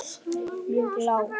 mjög lág.